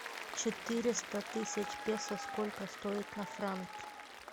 четыреста тысяч песо сколько стоит на франки